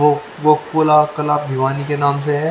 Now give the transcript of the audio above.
वो वो पुला तालाब युवानी के नाम से है।